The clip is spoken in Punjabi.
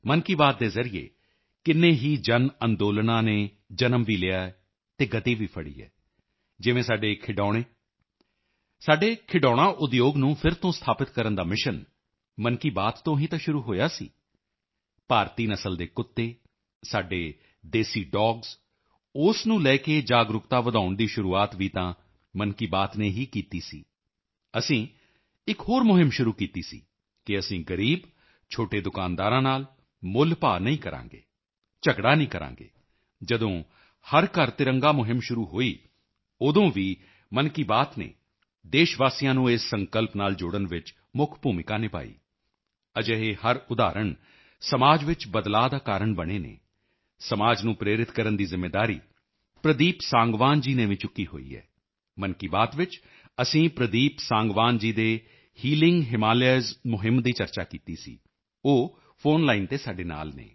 ਸਾਥੀਓ ਮਨ ਕੀ ਬਾਤ ਦੀ ਇਕ ਹੋਰ ਵਿਸ਼ੇਸ਼ਤਾ ਰਹੀ ਹੈ ਮਨ ਕੀ ਬਾਤ ਦੇ ਜ਼ਰੀਏ ਕਿੰਨੇ ਹੀ ਜਨਅੰਦੋਲਨਾਂ ਨੇ ਜਨਮ ਵੀ ਲਿਆ ਹੈ ਅਤੇ ਗਤੀ ਵੀ ਫੜੀ ਹੈ ਜਿਵੇਂ ਸਾਡੇ ਖਿਡੌਣੇ ਸਾਡੇ ਖਿਡੌਣਾ ਉਦਯੋਗ ਟੋਏ ਇੰਡਸਟਰੀ ਨੂੰ ਫਿਰ ਤੋਂ ਸਥਾਪਿਤ ਕਰਨ ਦਾ ਮਿਸ਼ਨ ਮਨ ਕੀ ਬਾਤ ਤੋਂ ਹੀ ਤਾਂ ਸ਼ੁਰੂ ਹੋਇਆ ਸੀ ਭਾਰਤੀ ਨਸਲ ਦੇ ਕੁੱਤੇ ਸਾਡੇ ਦੇਸੀ ਡੋਗਸ ਉਸ ਨੂੰ ਲੈ ਕੇ ਜਾਗਰੂਕਤਾ ਵਧਾਉਣ ਦੀ ਸ਼ੁਰੂਆਤ ਵੀ ਤਾਂ ਮਨ ਕੀ ਬਾਤ ਨੇ ਹੀ ਤਾਂ ਕੀਤੀ ਸੀ ਅਸੀਂ ਇਕ ਹੋਰ ਮੁਹਿੰਮ ਸ਼ੁਰੂ ਕੀਤੀ ਸੀ ਕਿ ਅਸੀਂ ਗਰੀਬ ਛੋਟੇ ਦੁਕਾਨਦਾਰਾਂ ਨਾਲ ਮੁੱਲਭਾਅ ਨਹੀਂ ਕਰਾਂਗੇ ਝਗੜਾ ਨਹੀਂ ਕਰਾਂਗੇ ਜਦੋਂ ਹਰ ਘਰ ਤਿਰੰਗਾ ਮੁਹਿੰਮ ਸ਼ੁਰੂ ਹੋਈ ਉਦੋਂ ਵੀ ਮਨ ਕੀ ਬਾਤ ਨੇ ਦੇਸ਼ਵਾਸੀਆਂ ਨੂੰ ਇਸ ਸੰਕਲਪ ਨਾਲ ਜੋੜਨ ਵਿੱਚ ਮੁੱਖ ਭੂਮਿਕਾ ਨਿਭਾਈ ਅਜਿਹੇ ਹਰ ਉਦਾਹਰਣ ਸਮਾਜ ਵਿੱਚ ਬਦਲਾਅ ਦਾ ਕਾਰਨ ਬਣੇ ਹਨ ਸਮਾਜ ਨੂੰ ਪ੍ਰੇਰਿਤ ਕਰਨ ਦੀ ਜ਼ਿੰਮੇਵਾਰੀ ਪ੍ਰਦੀਪ ਸਾਂਗਵਾਨ ਜੀ ਨੇ ਵੀ ਚੁੱਕੀ ਹੋਈ ਹੈ ਮਨ ਕੀ ਬਾਤ ਵਿੱਚ ਅਸੀਂ ਪ੍ਰਦੀਪ ਸਾਂਗਵਾਨ ਜੀ ਦੇ ਹੀਲਿੰਗ ਹਿਮਾਲਿਯਾਜ਼ ਮੁਹਿੰਮ ਦੀ ਚਰਚਾ ਕੀਤੀ ਸੀ ਉਹ ਫੋਨ ਲਾਈਨ ਤੇ ਸਾਡੇ ਨਾਲ ਹਨ